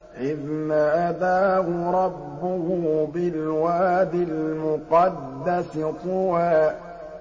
إِذْ نَادَاهُ رَبُّهُ بِالْوَادِ الْمُقَدَّسِ طُوًى